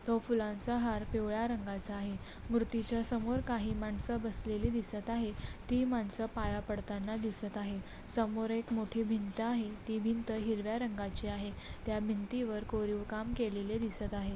तो फुलांचा हार पिवळ्या रंगाचा आहे मूर्ति च्या समोर काही माणस बसलेली दिसत आहेत ती मानस पाया पडताना दिसत आहे समोर एक मोठी भींत आहे ती भींत हिरव्या रंगाची आहे त्या भिंती वर कोरीव काम केलेले दिसत आहे.